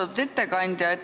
Austatud ettekandja!